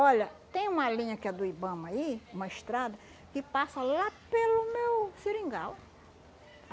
Olha, tem uma linha que é do Ibama aí, uma estrada, que passa lá pelo meu seringal.